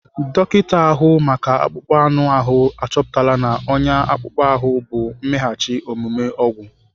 Dọkịta na-ahụ maka akpụkpọ anụ ahụ achọpụtala na ọnya akpụkpọ ahụ bụ mmeghachi omume ọgwụ.